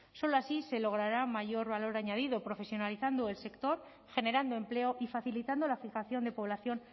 solo así se logrará mayor valor añadido profesionalizando el sector generando empleo y facilitando la fijación de población